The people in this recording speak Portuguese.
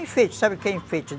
Enfeite, sabe o que é enfeite?